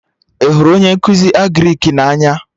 Ị hụrụ onye nkụzi Agrịk na-anya?